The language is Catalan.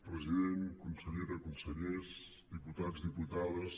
president consellera consellers diputats diputades